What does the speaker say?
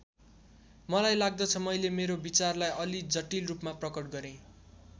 मलाई लाग्दछ मैले मेरो विचारलाई अलि जटिल रूपमा प्रकट गरेँ।